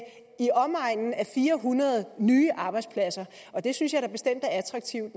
fire hundrede nye arbejdspladser og det synes jeg da bestemt er attraktivt